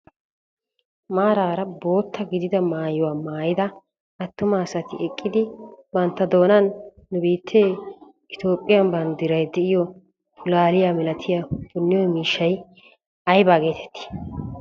Maarara bootta gidida maayuwaa maayida attuma asati eqqidi bantta doonan nu biittee Itoophphiyan banddiray de'iyo pulaaliyaa milatiyaa punniyo miishshay ayba geetetii?